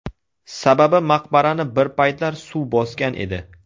Sababi maqbarani bir paytlar suv bosgan edi.